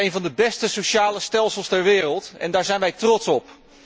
Nederland heeft een van de beste sociale stelsels ter wereld en daar zijn wij trots op.